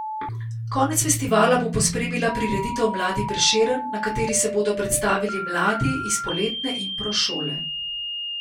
Konec festivala bo pospremila prireditev Mladi Prešeren, na kateri se bodo predstavili mladi iz poletne impro šole.